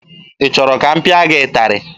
Ị chọrọ ka m pịa gị ịtarị?